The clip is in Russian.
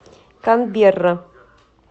канберра